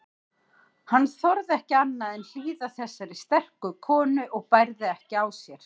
Hann þorði ekki annað en hlýða þessari sterku konu og bærði ekki á sér.